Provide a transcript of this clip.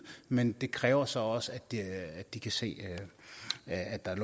men det kræver så også at de kan se at der